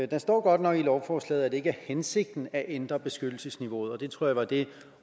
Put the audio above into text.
der står godt nok i lovforslaget at det ikke er hensigten at ændre beskyttelsesniveauet og jeg tror det var det